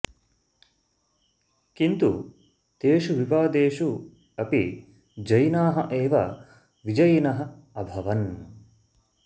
किन्तु तेषु विवादेषु अपि जैनाः एव विजयिनः अभवन्